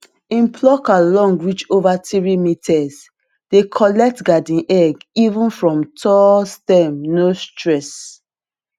him plucker long reach over three meterse dey collect garden egg even from tall stem no stress